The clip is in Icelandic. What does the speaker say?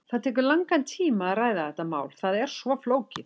Það tekur langan tíma að ræða þetta mál, það er svo flókið.